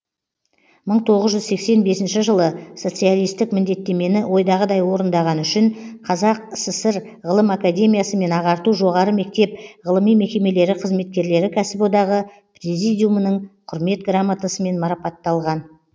мың тоғыз жүз сексен бесінші жылы соцалистік міндеттемені ойдағыдай орындағаны үшін қазақ сср ғылым академиясы мен ағарту жоғары мектеп ғылыми мекемелері қызметкерлері кәсіподағы президумының құрмет граммотасымен мараптатталған